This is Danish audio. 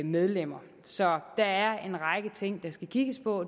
medlemmer så der er en række ting der skal kigges på